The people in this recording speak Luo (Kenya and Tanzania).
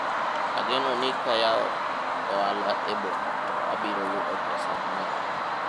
ageno ni ka ayawo ohala e boma to abiro yudo pesa mang'eny